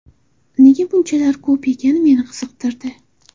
Nega bunchalar ko‘p ekani meni qiziqtirdi.